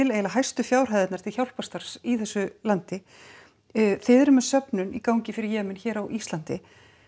eiginlega hæstu fjárhæðirnar til hjálparstarfs í þessu landi þið eruð með söfnun í gangi fyrir Jemen hér á Íslandi